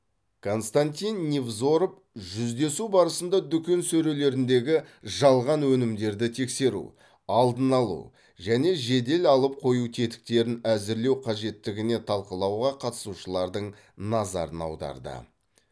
константин невзоров жүздесу барысында дүкен сөрелеріндегі жалған өнімдерді тексеру алдын алу және жедел алып қою тетіктерін әзірлеу қажеттігіне талқылауға қатысушылардың назарын аударды